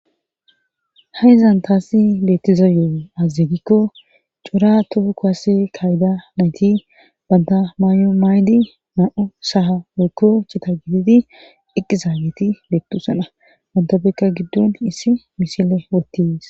Haizan taassi beettiza yo7o azazegikko cora tufu kowasi kayda nayti banta maayo maaydi na7u saha wokko chita gididi eqqizaageti bettusana bantabekka giddon issi misile wottis.